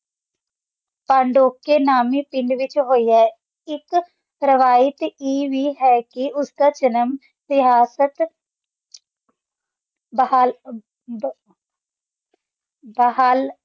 ਪੰਦੋਕੀ ਨਾਮਿ ਪਿੰਡ ਵਿਚ ਹੋਇਆ ਆਏ ਇਕ ਰਵਾਇਤ ਆਏ ਵੇ ਹੈ ਕ ਇਸ ਦਾ ਜਨਮ ਸਿਹਰਤਾਤ ਬਹਾਲ ਬ ਬਹਾਲ